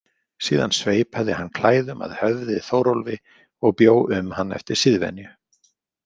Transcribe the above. Síðan sveipaði hann klæðum að höfði Þórólfi og bjó um hann eftir siðvenju.